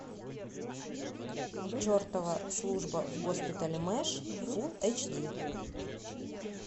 чертова служба в госпитале мэш фулл эйч ди